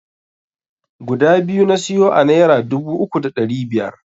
Guda biyu na siyo a naira dubu uku da ɗari biyar.